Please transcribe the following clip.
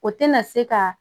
O tɛna se ka